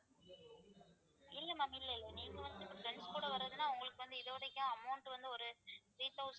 இல்ல ma'am இல்ல இல்ல நீங்க வந்து இப்ப friends கூட வர்றதுன்னா உங்களுக்கு வந்து இதுவரைக்கும் amount வந்து ஒரு three thousand